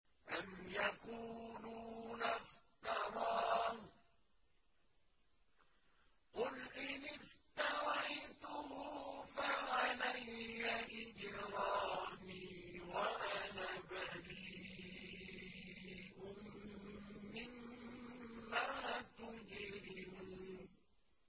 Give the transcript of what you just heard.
أَمْ يَقُولُونَ افْتَرَاهُ ۖ قُلْ إِنِ افْتَرَيْتُهُ فَعَلَيَّ إِجْرَامِي وَأَنَا بَرِيءٌ مِّمَّا تُجْرِمُونَ